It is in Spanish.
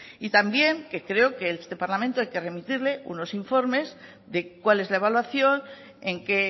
y también que creo que a este parlamento hay que remitirle unos informes de cuál es la evaluación en qué